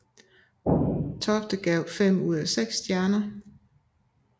Tofte gav fem ud af seks stjerner